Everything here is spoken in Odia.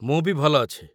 ମୁଁ ବି ଭଲ ଅଛି।